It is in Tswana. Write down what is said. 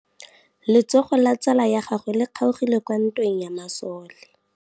Letsôgô la tsala ya gagwe le kgaogile kwa ntweng ya masole.